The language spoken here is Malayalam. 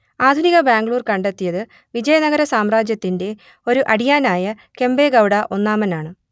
ആധുനിക ബാംഗ്ലൂർ കണ്ടെത്തിയത് വിജയനഗര സാമ്രാജ്യത്തിന്റെ ഒരു അടിയാനായ കെമ്പെ ഗൗഡ ഒന്നാമനെയാണു